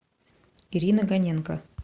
ирина гоненко